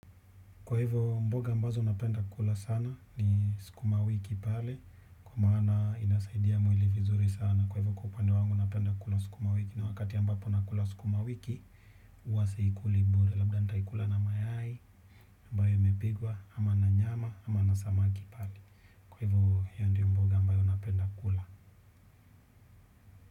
Kwa hivo mboga ambazo napenda kula sana ni sukuma wiki pale kwa maana inasaidia mwili vizuri sana kwa hivyo kupande wangu napenda kula sukuma wiki na wakati ambapo nakula sukuma wiki huwa siikuli bure labda nitaikula na mayai ambayo mepikwa ama na nyama ama na samaki pale. Kwa hivyo hiyo ndio mboga ambayo napenda kula.